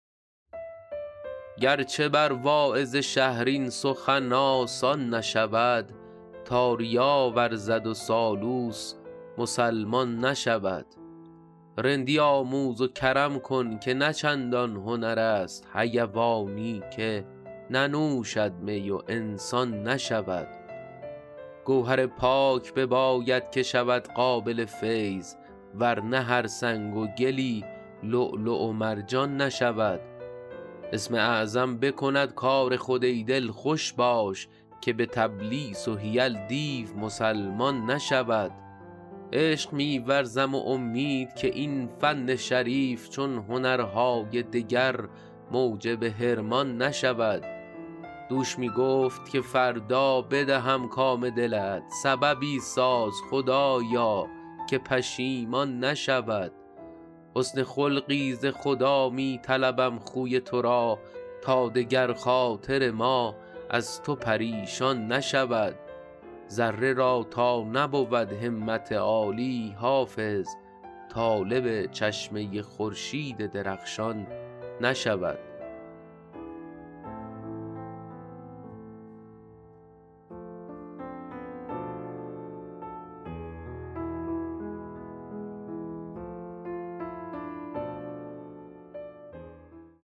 گر چه بر واعظ شهر این سخن آسان نشود تا ریا ورزد و سالوس مسلمان نشود رندی آموز و کرم کن که نه چندان هنر است حیوانی که ننوشد می و انسان نشود گوهر پاک بباید که شود قابل فیض ور نه هر سنگ و گلی لؤلؤ و مرجان نشود اسم اعظم بکند کار خود ای دل خوش باش که به تلبیس و حیل دیو مسلمان نشود عشق می ورزم و امید که این فن شریف چون هنرهای دگر موجب حرمان نشود دوش می گفت که فردا بدهم کام دلت سببی ساز خدایا که پشیمان نشود حسن خلقی ز خدا می طلبم خوی تو را تا دگر خاطر ما از تو پریشان نشود ذره را تا نبود همت عالی حافظ طالب چشمه خورشید درخشان نشود